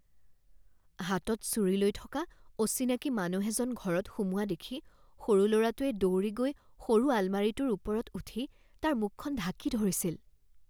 হাতত ছুৰী লৈ থকা অচিনাকি মানুহ এজন ঘৰত সোমোৱা দেখি সৰু লৰাটোৱে দৌৰি গৈ সৰু আলমাৰিটোৰ ওপৰত উঠি তাৰ মুখখন ঢাকি ধৰিছিল